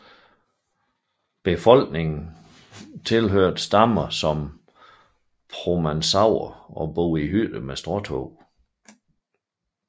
Folkene tilhørte stammer som promaucaer og boede i hytter med stråtag